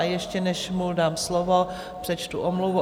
A ještě než mu dám slovo, přečtu omluvu.